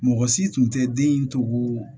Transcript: Mɔgɔ si tun tɛ den in to ko